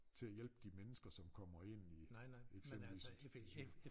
Til at hjælpe de mennesker som kommer ind i eksempelvis i sygehuset